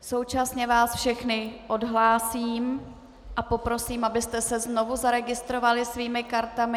Současně vás všechny odhlásím a poprosím, abyste se znovu zaregistrovali svými kartami.